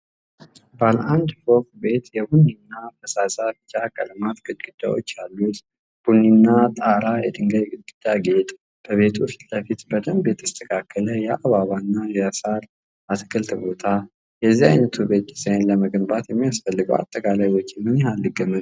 ባለ አንድ ፎቅ ቤት የቡኒና ፈዛዛ ቢጫ ቀለማት ግድግዳዎች ያሉት፣ ቡኒ ጣራና የድንጋይ ግድግዳ ጌጥ፤ በቤቱ ፊትለፊት በደንብ የተስተካከለ የአበባና የሳር አትክልት ቦታ፣ የዚህ ዓይነቱ ቤት ዲዛይን ለመገንባት የሚያስፈልገው አጠቃላይ ወጪ ምን ያህል ሊገመት ይችላል?